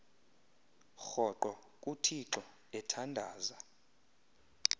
rhoqo kuthixo ethandaza